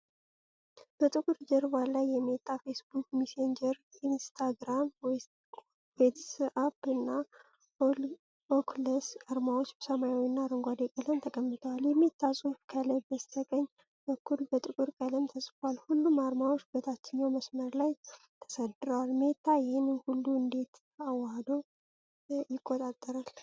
በጥቁር ጀርባ ላይ የሜታ፣ ፌስቡክ፣ ሜሴንጀር፣ ኢንስታግራም፣ ዋትስአፕ እና ኦኩለስ አርማዎች በሰማያዊና አረንጓዴ ቀለም ተቀምጠዋል። የሜታ ጽሑፍ ከላይ በስተቀኝ በኩል በጥቁር ቀለም ተጽፏል። ሁሉም አርማዎች በታችኛው መስመር ላይ ተሰድረዋል። ሜታ ይህንን ሁሉ እንዴት አዋህዶ ይቆጣጠራል?